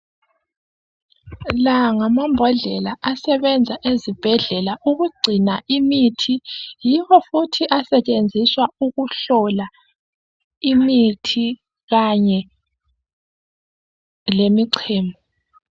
La ngamabhodlela asebenza ezibhedlela ukugcina imithi. Yibo futhi asetshenziswa ukuhlola imithi kanye lemicemo.